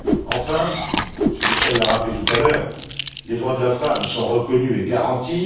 Enfin, M. Michel l'a rappelé tout à l'heure, les droits de la femme sont reconnus et garantis.